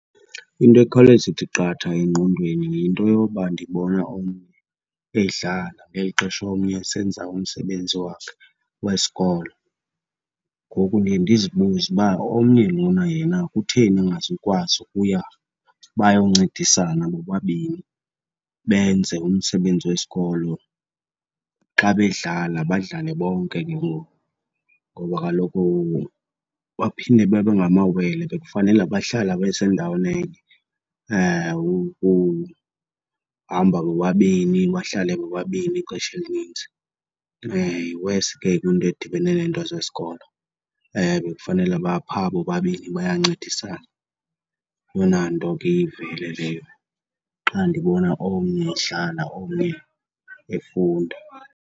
Into ekhawuleza ithi qatha engqondweni yinto yoba ndibona omnye edlala ngeli xesha omnye esenza umsebenzi wakhe wesikolo. Ngoku ndiye ndizibuze uba omnye lona yena kutheni engazukwazi ukuya bayoncedisana bobabini benze umsebenzi wesikolo, xa bedlala badlale bonke ke ngoku? Ngoba kaloku baphinde babe ngamawele, bekufanele bahlala besendaweni enye, ukuhamba bobani, bahlale bobabini ixesha elininzi. Iwesi ke kwiinto edibene neento zesikolo, bekufanele baphaa bobabini bayancedisana. Yeyona nto ke iye ivele leyo xa ndibona omnye edlala omnye efunda.